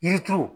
Yiri turu